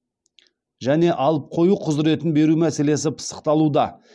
және алып қою құзыретін беру мәселесі пысықталуда